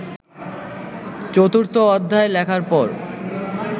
চতুর্থ অধ্যায় লেখার পর